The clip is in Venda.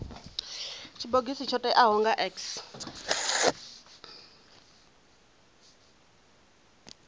tshibogisi tsho teaho nga x